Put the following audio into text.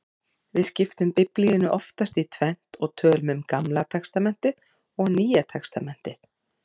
Við skiptum Biblíunni oftast í tvennt og tölum um Gamla testamentið og Nýja testamentið.